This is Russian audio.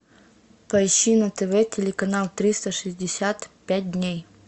поищи на тв телеканал триста шестьдесят пять дней